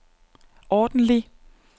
ordentlig